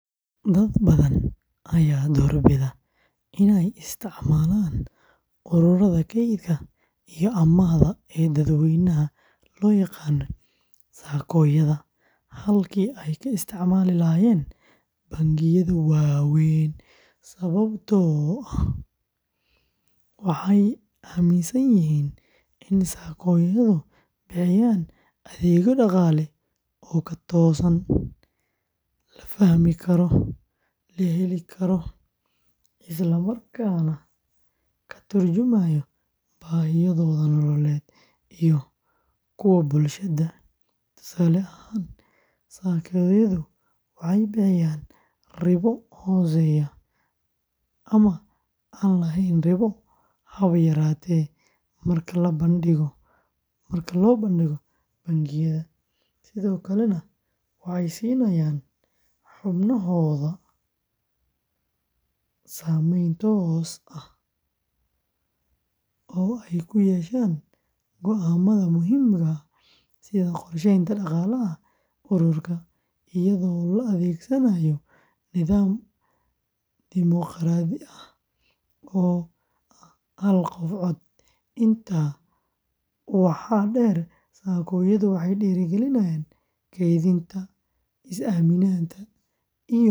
Dad badan ayaa doorbida inay isticmaalaan ururada kaydka iyo amaahda ee dadweynaha loo yaqaan SACCO-yada halkii ay ka isticmaali lahaayeen bangiyada waaweyn sababtoo ah waxay aaminsan yihiin in SACCO-yadu bixiyaan adeegyo dhaqaale oo ka toosan, la fahmi karo, la heli karo, isla markaana ka turjumaya baahiyahooda nololeed iyo kuwa bulshada; tusaale ahaan, SACCO-yadu waxay bixiyaan ribo hooseysa ama aan lahayn ribo haba yaraatee marka la barbardhigo bangiyada, sidoo kalena waxay siinayaan xubnahooda saamayn toos ah oo ay ku yeeshaan go’aamada muhiimka ah sida qorsheynta dhaqaalaha ururka, iyadoo la adeegsanaayo nidaam dimoqraadi ah oo ah hal qof cod; intaa waxaa dheer, SACCO-yadu waxay dhiirrigeliyaan kaydinta, is-aaminada iyo wadajirka bulshada.